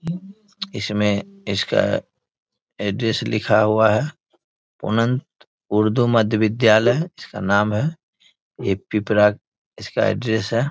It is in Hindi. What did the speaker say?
इसमे इसका अड्रेस लिखा हुआ है उनंत उर्दू मद विद्यालय जिसका नाम है ये पिपरा इसका अड्रेस है।